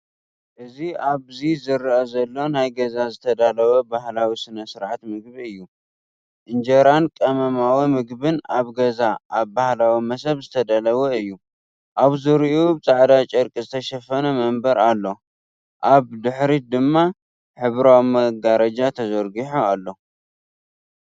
እዚ ኣብዚ ዝርአ ዘሎ ኣብ ገዛ ዝተዳለወ ባህላዊ ስነ-ስርዓት ምግቢ እዩ። ኢንጀራን ቀመማዊ ምግብን ኣብ ገዛ ኣብ ባህላዊ መሰብ ዝተዳለወ እዩ። ኣብ ዙርያኡ ብጻዕዳ ጨርቂ ዝተሸፈነ መንበር ኣሎ፣ ኣብ ድሕሪት ድማ ሕብራዊ መጋረጃ ተዘርጊሑ ኣሎ።